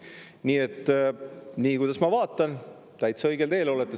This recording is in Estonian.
Nii et kui ma vaatan, siis täitsa õigel teel olete.